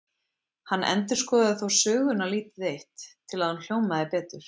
Hann endurskoðaði þó söguna lítið eitt, til að hún hljómaði betur.